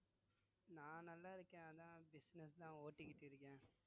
நான் நல்லாருக்கேன் அதான் business தான் ஓட்டிட்டு இருக்கேன்